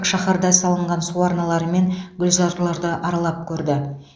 шаһарда салынған су арналары мен гүлзарларды аралап көрді